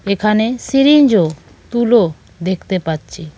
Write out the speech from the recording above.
এখানে সিরিঞ্জ ও তুলো দেখতে পাচ্ছি।